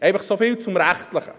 Einfach so viel zum Rechtlichen.